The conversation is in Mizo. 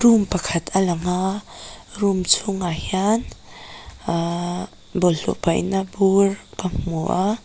room pakhat a lang a room chhûngah hian ahhh bawlhhlawh paihna bûr ka hmu a.